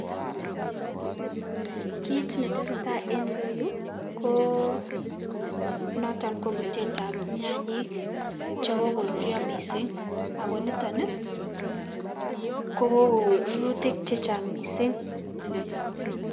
Kit netesei tai en ireyu ko noto kobuteteab nyanyik chekokoruryo missing ako nito nii ko kokorurutik che chang missing.